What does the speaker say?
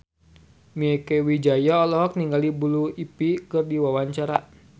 Mieke Wijaya olohok ningali Blue Ivy keur diwawancara